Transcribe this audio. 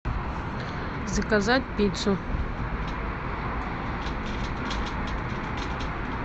заказать пиццу